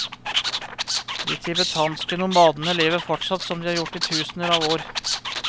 De tibetanske nomadene lever fortsatt som de har gjort i tusener av år.